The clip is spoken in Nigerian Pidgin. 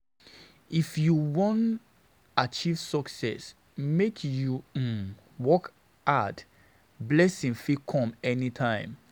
If you wan achieve success, make you um work hard, blessing fit come anytime.